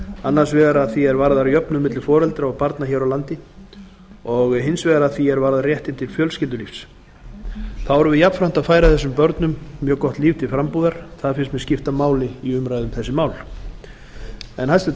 annars vegar að því er varðar jöfnun milli foreldra og barna hér á landi og hins vegar að því er varðar réttinn til fjölskyldulífs þá erum við jafnframt að færa þessum börnum mjög gott líf til frambúðar það finnst mér skipta máli í umræðu um þessi mál hæstvirtur